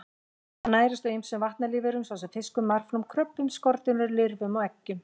Hann nærist á ýmsum vatnalífverum svo sem fiskum, marflóm, kröbbum, skordýrum, lirfum og eggjum.